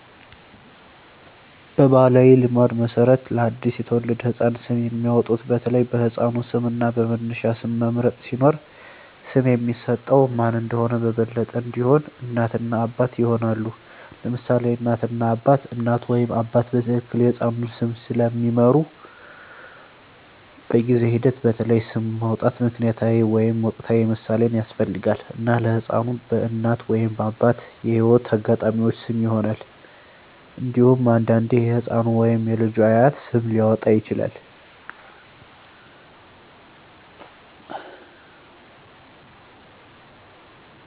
በባሕላዊ ልማድ መሠረት ለአዲስ የተወለደ ህፃን ስም የሚያወጡት በተለይ በሕፃኑ ስም እና በመነሻ ስም መምረጥ ሲኖር፣ ስም የሚሰጠው ማን እንደሆነ በበለጠ እንዲሆን፣ እናት እና አባት ይሆናሉ: ለምሳሌ እናት እና አባት: እናት ወይም አባት በትክክል የሕፃኑን ስም ስለሚምሩ፣ በጊዜ ሂደት በተለይ ስም ማውጣት ምክንያታዊ ወይም ወቅታዊ ምሳሌን ያስፈልጋል፣ እና ለሕፃኑ በእናት ወይም አባት የህይወት አጋጣሚዎች ስም ይሆናል። እንዴሁም አንዳንዴ የህፃኑ ወይም የልጁ አያት ስም ሊያወጣ ይችላል።